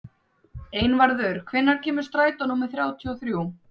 Einvarður, hvenær kemur strætó númer þrjátíu og þrjú?